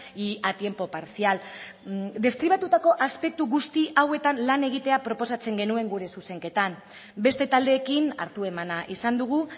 y a tiempo parcial deskribatutako aspektu guzti hauetan lan egitea proposatzen genuen gure zuzenketan beste taldeekin hartu emana izan dugu